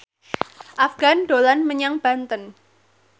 Afgan dolan menyang Banten